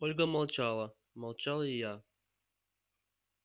ольга молчала молчал и я